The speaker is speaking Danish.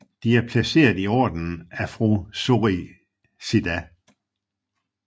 De er placeret i ordenen Afrosoricida